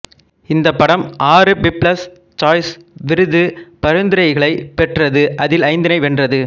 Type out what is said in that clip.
இந்த படம் ஆறு பீப்பிள்ஸ் சாய்ஸ் விருது பரிந்துரைகளைப் பெற்றது அதில் ஐந்தினை வென்றது